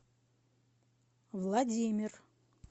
владимир